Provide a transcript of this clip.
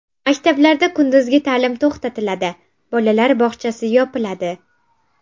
Maktablarda kunduzgi ta’lim to‘xtatiladi, bolalar bog‘chalari yopiladi.